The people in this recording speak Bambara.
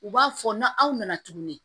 U b'a fɔ na aw nana tuguni